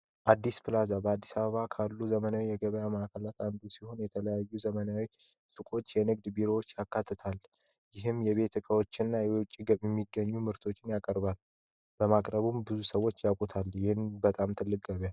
አዲስ በአዲስ አበባ ካሉ ዘመናዊ የገበያ ማዕከላዊ ሲሆን የተለያዩ ዘመናዊ የንግድ ቢሮዎችታል ይህም የቤት እቃዎችንና የውጭ የሚገኙ ምርቶች ያቀርባል በማቅረቡም ብዙ ሰዎች አቁታል ብዬም በጣም ትልቅ